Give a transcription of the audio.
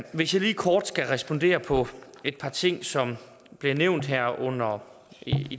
hvis jeg lige kort skal respondere på et par ting som blev nævnt her under